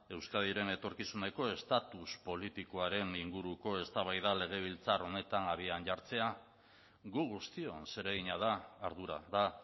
euskadiren etorkizunerako estatus politikoaren inguruko eztabaida legebiltzar honetan abian jartzea gu guztion zeregina da ardura da